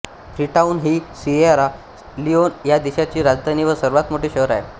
Freetown ही Sierra Leone ह्या देशाची राजधानी व सर्वात मोठे शहर आहे